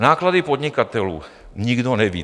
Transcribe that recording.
Náklady podnikatelů - nikdo neví.